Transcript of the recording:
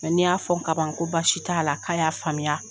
Ni y'a fɔ kaban ko baasi t'a la k'a y'a faamuya.